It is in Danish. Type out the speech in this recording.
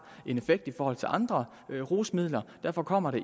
en effekt i forhold til andre rusmidler derfor kommer